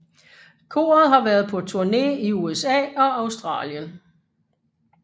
Koret har været på turné i USA og Australien